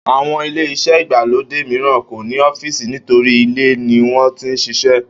Àwo̩n ilé-is̩é̩ ìgbàlódé mìíràn kò ní ó̩fíìsì nítorí ilé ni wó̩n ti ń s̩is̩é̩